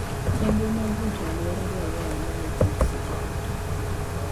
Chenro mag rito alwora dwarore ahinya ne kich seche duto.